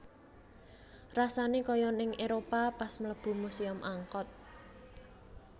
Rasane koyo ning Eropa pas mlebu Museum Angkut